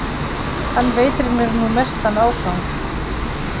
Hann veitir mér nú mestan ágang.